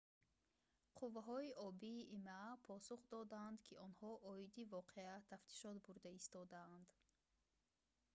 қувваҳои обии има посух доданд ки онҳо оиди воқеа тафтишот бурда истодаанд